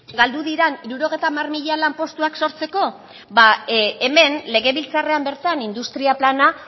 galdu diren hirurogeita hamar mila lanpostuak sortzeko ba hemen legebiltzarrean bertan industria plana